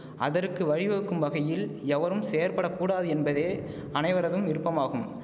அதற்கு வழிவகுக்கும் வகையில் எவரும் செயற்பட கூடாது என்பதே அனைவரதும் விருப்பமாகும்